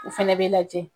U fɛnɛ bɛ lajɛ